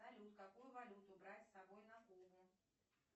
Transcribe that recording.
салют какую валюту брать с собой на кубу